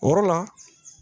O yɔrɔ la